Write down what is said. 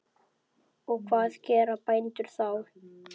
Og hvað gera bændur þá?